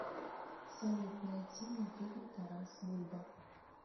салют найти мне фильм тарас бульба